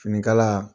Finikala